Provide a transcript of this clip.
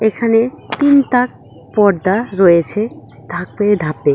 এখানে তিন তাক পর্দা রয়েছে ধাপে ধাপে।